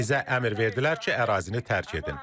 Bizə əmr verdilər ki, ərazini tərk edin.